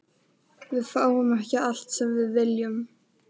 Við fáum ekki allt sem við viljum.